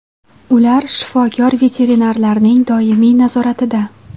Ular shifokor-veterinarlarning doimiy nazoratida.